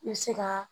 I bɛ se ka